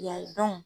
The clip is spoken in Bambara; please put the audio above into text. Yan